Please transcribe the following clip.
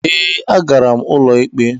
Ee, agara m ụlọ ikpe.